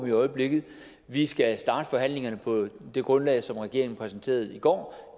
i øjeblikket vi skal starte forhandlingerne på det grundlag som regeringen præsenterede i går